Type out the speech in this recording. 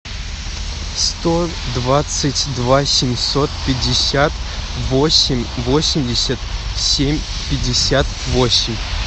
сто двадцать два семьсот пятьдесят восемь восемьдесят семь пятьдесят восемь